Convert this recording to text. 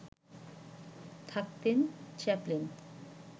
থাকতেন চ্যাপলিন